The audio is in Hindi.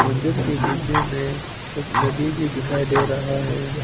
मंदिर के पीछे में एक नदी भी दिखाई दे रहा है।